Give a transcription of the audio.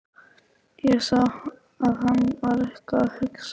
Ég sá að hann var eitthvað að hugsa.